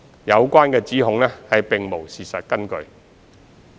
有關指控並無事實根據。